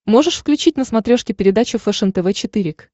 можешь включить на смотрешке передачу фэшен тв четыре к